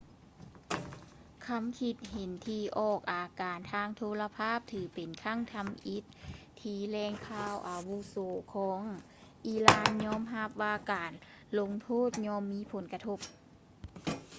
ຄຳຄິດເຫັນທີ່ອອກອາກາດທາງໂທລະພາບຖືເປັນຄັ້ງທຳອິດທີ່ແຫຼ່ງຂ່າວອາວຸໂສຂອງອີຣານຍອມຮັບວ່າການລົງໂທດຍ່ອມມີຜົນກະທົບ